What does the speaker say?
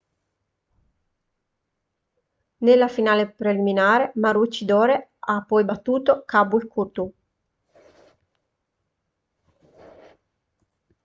nella finale preliminare maroochydore ha poi battuto caboolture